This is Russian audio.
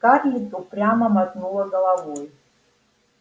скарлетт упрямо мотнула головой